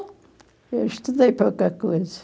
Eu estudei pouca coisa.